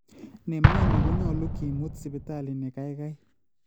Nemyoni konyolu kemut Sipitali nekaikai